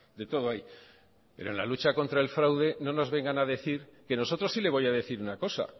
de todo hay pero en la lucha contra el fraude no nos vengan a decir que nosotros sí le voy a decir una cosa